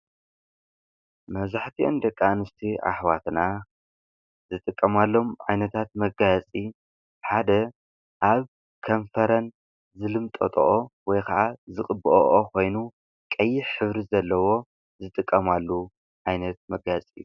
መዛሕቲ እንደቃ ንስቲ ኣኅዋትና ዝጥቀማሎም ኣይነታት መጋጺ ሓደ ኣብ ከንፈረን ዘልምጠጦኦ ወይ ኸዓ ዝቕብኦኦ ኾይኑ ቀይሕ ኅብሪ ዘለዎ ዝጥቀማሉ ኣይነት መጋጺ እዩ።